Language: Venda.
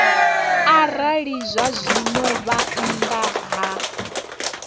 arali zwazwino vha nnḓa ha